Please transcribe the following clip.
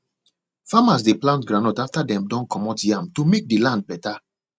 farmers de plant goundnut after dem don commot yam to make the land better